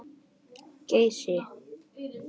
Geysi